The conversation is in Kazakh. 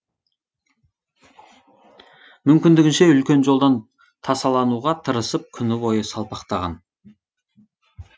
мүмкіндігінше үлкен жолдан тасалануға тырысып күні бойы салпақтаған